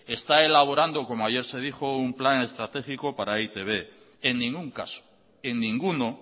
está elaborando como ayer se dijo un plan estratégico para e i te be en ningún caso en ninguno